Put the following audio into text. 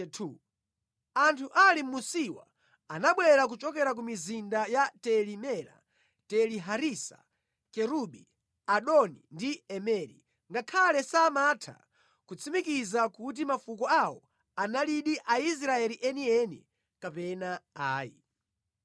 Anthu ali mʼmunsiwa anabwera kuchokera ku mizinda ya Teli-Mela, Teli-Harisa, Kerubi, Adoni ndi Imeri, ngakhale samatha kutsimikiza kuti mafuko awo analidi Aisraeli enieni kapena ayi: